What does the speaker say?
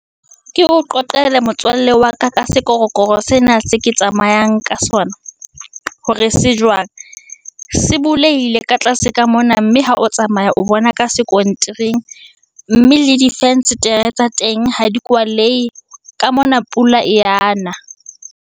Ke o qoqele motswalle wa ka, ka sekorokoro sena se ke tsamayang ka sona, hore se jwang, se buleile ka tlase ka mona, mme ha o tsamaya o bona ka sekontiring. Mme le difenstere tsa teng ha di kwalehe, ka mona pula e ya na.